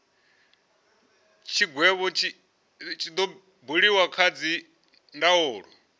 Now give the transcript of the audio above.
tshigwevho tshi do buliwa kha dzindaulo